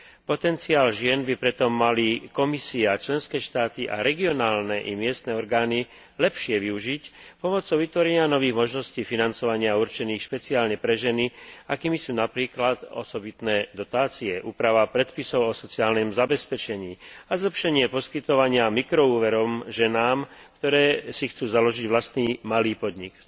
Potenciál žien by preto mali Komisia, členské štáty a regionálne i miestne orgány lepšie využiť pomocou vytvorenia nových možností financovania určených špeciálne pre ženy, akými sú napríklad osobitné dotácie, úprava predpisov o sociálnom zabezpečení a zlepšenie poskytovania mikroúverov ženám, ktoré si chcú založiť vlastný malý podnik.